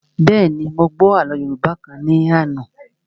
Bẹ́ẹ̀ni, mo gbọ́ àlọ́ yóòbá kan ní àná